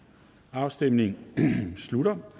afstemningen slutter